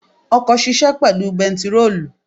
Ọkọ̀ ṣisẹ́ pẹ̀lú bentiróòlù.